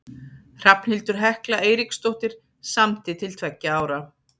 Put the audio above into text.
Hrafnhildur Hekla Eiríksdóttir samdi til tveggja ára.